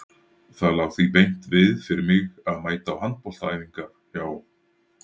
Það lá því beint við fyrir mig að mæta á handboltaæfingar hjá